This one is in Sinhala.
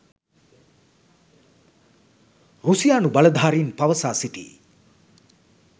රුසියානු බලධාරින් පවසා සිටියි